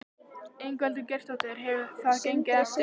Ingveldur Geirsdóttir: Hefur það gengið eftir?